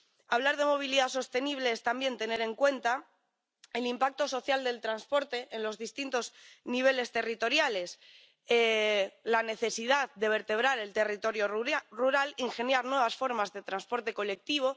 Hablar de movilidad sostenible es también tener en cuenta el impacto social del transporte en los distintos niveles territoriales, la necesidad de vertebrar el territorio rural, ingeniar nuevas formas de transporte colectivo.